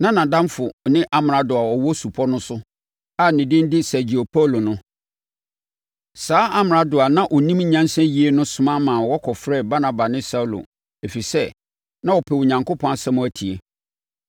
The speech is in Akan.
Na nʼadamfo ne amrado a ɔwɔ supɔ no so a ne din de Sergio Paulo no. Saa amrado a na ɔnim nyansa yie no soma ma wɔkɔfrɛɛ Barnaba ne Saulo, ɛfiri sɛ, na ɔrepɛ Onyankopɔn asɛm atie.